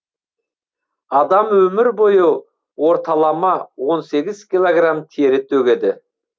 адам өмір бойы орталама он сегіз килограмм тері төгеді